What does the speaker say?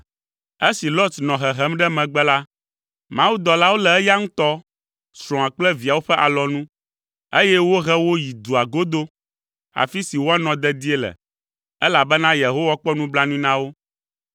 Esi Lot nɔ hehem ɖe megbe la, mawudɔlawo lé eya ŋutɔ, srɔ̃a kple viawo ƒe alɔnu, eye wohe wo yi dua godo, afi si woanɔ dedie le, elabena Yehowa kpɔ nublanui na wo.